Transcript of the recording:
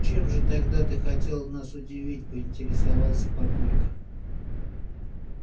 чем же тогда ты хотела нас удивить поинтересовался папулька